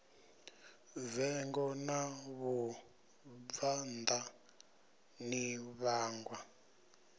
vengo ḽa vhabvannḓa ḽi vhangwa